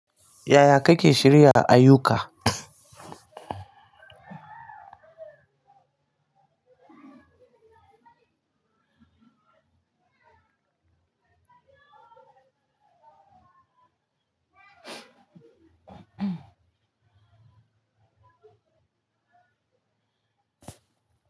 Yaya kake shirya ayyuka?